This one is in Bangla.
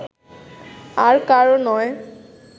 আর কারও নয়